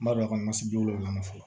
N b'a dɔn a ka wolola fɔlɔ